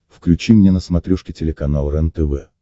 включи мне на смотрешке телеканал рентв